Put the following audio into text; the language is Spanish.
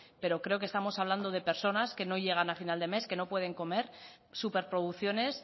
pero creo que estamos hablando de personas que no llegan a final de mes que no pueden comer superproducciones